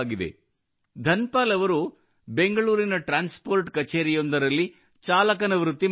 ಧನ್ ಪಾಲ್ ಅವರು ಬೆಂಗಳೂರಿನ transport ಕಛೇರಿಯೊಂದರಲ್ಲಿ ಚಾಲಕನ ವೃತ್ತಿ ಮಾಡುತ್ತಾರೆ